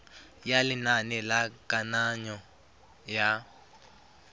ya lenane la kananyo ya